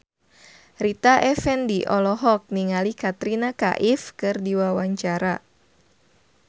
Rita Effendy olohok ningali Katrina Kaif keur diwawancara